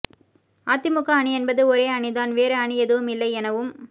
அதிமுக அணி என்பது ஒரே அணி தான் வேறு அணி எதுவும் இல்லை எனவும்